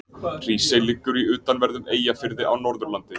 Hrísey liggur í utanverðum Eyjafirði á Norðurlandi.